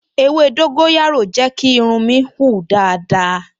Ewé dóńgóyárò jẹ́ kí irun mi hun dáadáa